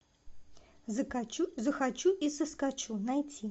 захочу и соскочу найти